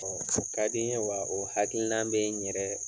Ɔ o ka di n ye wa o hakilina bɛ n yɛrɛ